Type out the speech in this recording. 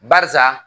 Barisa